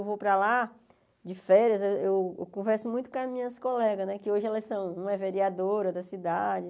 Eu vou para lá de férias, eu eu eu converso muito com as minhas colegas né, que hoje elas são uma é vereadora da cidade.